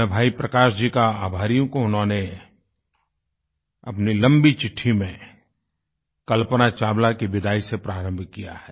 मैं भाई प्रकाश जी का आभारी हूँ कि उन्होंने अपनी लम्बी चिट्ठी में कल्पना चावला की विदाई से प्रारम्भ किया है